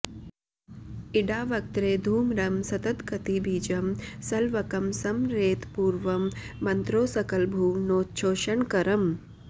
इडावक्त्रे धूम्रं सततगतिबीजं सलवकं स्मरेत् पूर्वं मन्त्रो सकलभुवनोच्छोषणकरम्